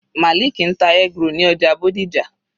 Maliki ń ta eggroll ní ọjà Bódìjà.